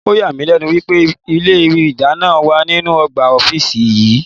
Ọ̀yà mí lẹ́nu wípé ilé ìdáná wà nínú ọgbà ọ́fíìsì yí.